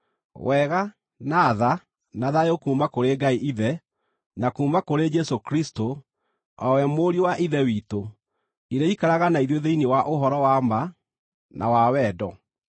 Wega, na tha, na thayũ kuuma kũrĩ Ngai Ithe, na kuuma kũrĩ Jesũ Kristũ, o we Mũriũ wa Ithe witũ, irĩikaraga na ithuĩ thĩinĩ wa ũhoro wa ma, na wa wendo.